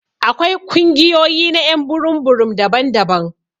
Akwai kungiyoyi na y'an burum burum daban-daban.